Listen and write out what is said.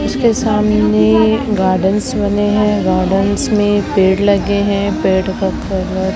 इसके सामने गार्डन्स बने हैं गार्डन्स में पेड़ लगे हैं पेड़ का कलर --